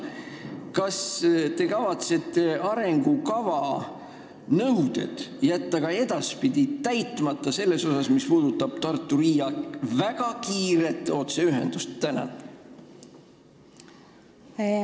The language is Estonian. Kas te kavatsete arengukava punktid, mis puudutavad Tartu ja Riia vahelist väga kiiret otseühendust, ka edaspidi täitmata jätta?